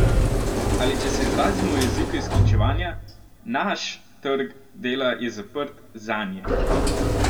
Ali če se izrazimo v jeziku izključevanja: "naš" trg dela je zaprt "zanje".